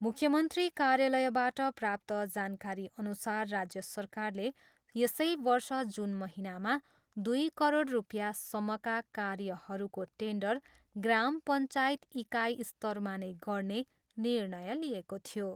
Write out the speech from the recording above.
मुख्य मन्त्री कार्यालयबाट प्राप्त जानकारीअनुसार राज्य सरकारले यसै वर्ष जुन महिनामा दुई करोड रुपियाँसम्मका कार्यहरूको टेन्डर ग्राम पञ्चायत इकाइ स्तरमा नै गर्ने निर्णय लिएको थियो।